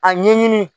A ɲɛɲini